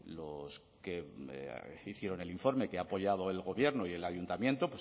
los que hicieron el informe que ha apoyado el gobierno y el ayuntamiento